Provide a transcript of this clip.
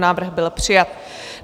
Návrh byl přijat.